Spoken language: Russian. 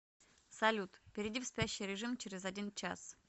салют перейди в спящий режим через один час